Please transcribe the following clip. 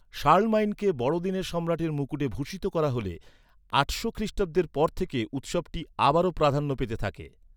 শার্লমাইনকে বড়দিনে সম্রাটের মুকুটে ভূষিত করা হলে, আটশো খ্রিষ্টাব্দের পর থেকে উৎসবটি আবারও প্রাধান্য পেতে থাকে।